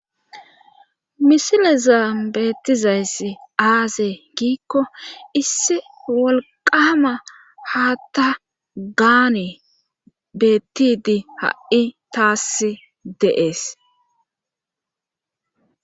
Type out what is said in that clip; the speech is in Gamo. misile zaa beettizayssi aazee giikko issi wolqama haa ta gaane bettidi ha7i taass deees